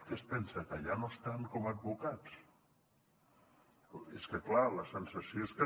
què es pensa que ja no estan com a advocats és que clar la sensació és que